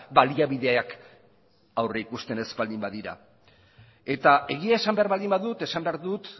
baliabideak aurrikusten ez baldin badira eta egia esan behar baldin badut esan behar dut